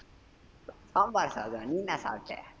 சாம்பார் சாதம், நீ என்ன சாப்ட